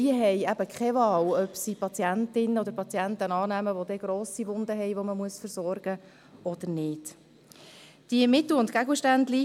Denn sie hat keine Wahl, ob sie Patienten oder Patientinnen mit grossen Wunden zum Versorgen annimmt oder nicht.